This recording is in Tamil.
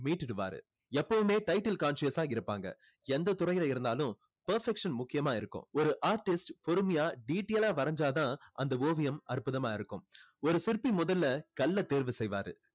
மீட்டுடுவாறு எப்போவுமே title conscious யா தான் இருப்பாங்க எந்த துறையில இருந்தாலும் perfection முக்கியமா இருக்கும் ஒரு artist பொறுமையா detail ஆ வரைஞ்சா தான் அந்த ஓவியம் அற்புதமா இருக்கும் ஒரு சிற்பி முதல்ல கல்லை தேர்வு செய்வாரு